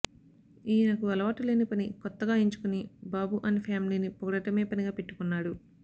ఈయన కు అలవాటులేని పని కొత్తగా ఎంచుకుని బాబు అండ్ ఫ్యామిలీని పొగడడమే పనిగా పెట్టుకున్నాడు